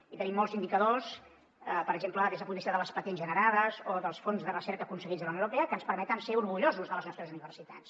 i tenim molts indicadors per exemple des del punt de vista de les patents generades o dels fons de recerca aconseguits de la unió europea que ens permeten estar orgullosos de les nostres universitats